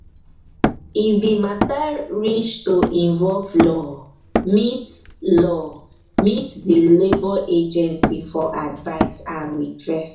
if di matter reach to involve law meet law meet di labour agancy for advise and redress